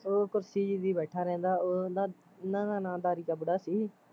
ਉਹ ਕੁਰਸੀ ਜਹੀ ਤੇ ਬੈਠਾ ਰਹਿੰਦਾ ਉਹ ਉਹਨਾਂ ਉਹਨਾਂ ਦਾ ਨਾ ਦਾਰੀ ਕਾ ਬੁੜਾ ਸੀ